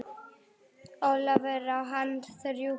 Ólafur, á hann þrjú börn.